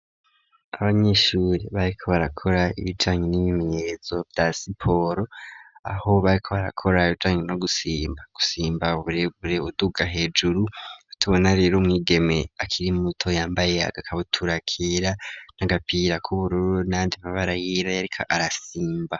abanyeshuri bariko barakora ibijanye n'ibimenyetso vya siporo aho bariko barakora abijanye no gusimba gusimba uburebure uduga hejuru atubona rero umwigeme akiri muto yambaye agakabutura kera n'agapira k'ubururu nayandi mabara yiriko arasimba.